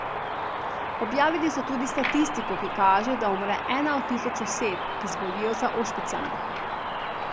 Objavili so tudi statistiko, ki kaže, da umre ena od tisoč oseb, ki zbolijo za ošpicami.